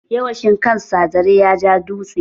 Yawa shi kan sa zare ya ja dutse.